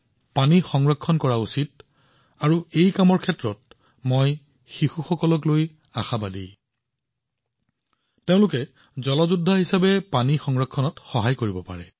যিদৰে আমাৰ লৰাছোৱালীয়ে পৰিষ্কাৰপৰিচ্ছন্নতাক এক আন্দোলন গঢ়ি তুলিছিল তেওঁলোকে পানী যোদ্ধা হৈও পানী ৰক্ষা কৰাত সহায় কৰিব পাৰে